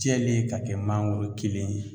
Jɛlen ka kɛ mangoro kelen ye